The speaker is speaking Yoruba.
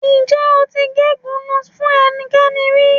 Ǹjẹ́ o ti gégùnu-ún fún ẹnikẹ́ni rí?